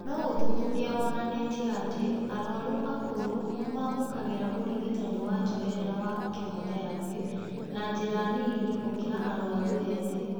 No ũthuthuria wonanĩtie atĩ arwaru akũrũ nĩmamũkagĩra ũrigitani wa njoherera wa kemotherapĩ na njĩra nini gũkĩra arwaru ethĩ